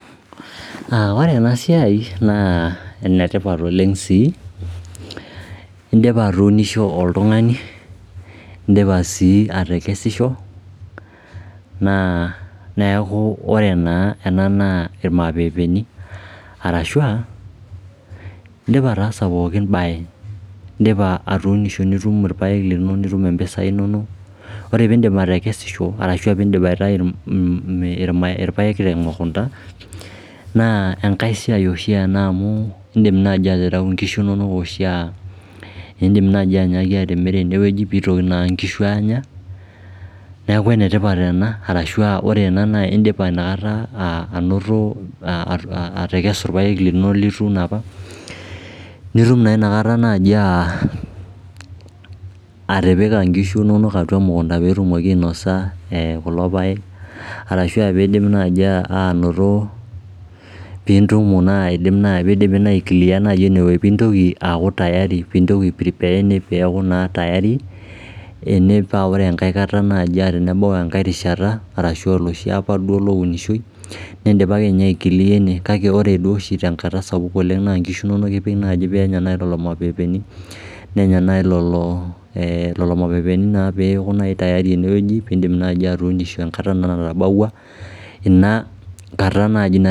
Ore ena siai naa enetipat oleng sii indioa atuunishe oltungani in'dipa sii atekesisho neeku ore naa ena naa ilmaapeepeni ashu anaa in'dipa ataasa pooki bae ashu atuunisho nitum ilapek linono nitum impisai inono ore piidip atekesisho ashu ore piindip aitayu ilpaek temukunda naa enkai siai oshi ena amu indim naai atareu ingishu inonok ashu in'dip nai atimira ene peepuonu ingishu aanya niaku enetipat ena ashu aa ore ena naa indipa nakata ainoto ilapek linono lituuno opa nitum naa inakata atipika ngishu inonok atua emukunda peetumoki ainosa kulo paekarashu aa piidip nai anoto piidipi nai aiclear ene peeku tayari ene paa ore enkai kata naji tenebau engae rishata ashu oloshi apa duo lounishoi nidipa akeniye aiclear ene kake ore duo oshi tenkata sapuk oleng naa nkishu inonok ipik peenya naji lelo mapeepeeni nenya peeku naa nai tayari enewueji piidim naji aatuuno tenkata naji